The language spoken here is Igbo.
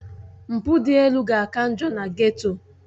Mpụ dị elu ga-aka njọ na Geto